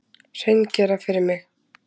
Hreingera fyrir mig.